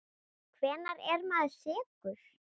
Hvenær er maður sekur?